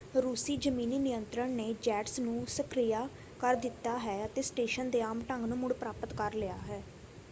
ਰੂਸੀ ਜ਼ਮੀਨੀ ਨਿਯੰਤਰਣ ਨੇ ਜੈਟਸ ਨੂੰ ਸਕਿਰਿਆ ਕਰ ਦਿੱਤਾ ਹੈ ਅਤੇ ਸਟੇਸ਼ਨ ਦੇ ਆਮ ਢੰਗ ਨੂੰ ਮੁੜ-ਪ੍ਰਾਪਤ ਕਰ ਲਿਆ ਹੈ।